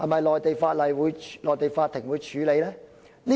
內地法庭會否處理呢？